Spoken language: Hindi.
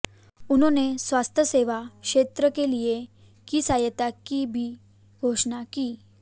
उन्होंने स्वास्थ्य सेवा क्षेत्र के लिए की सहायता की भी घोषणा की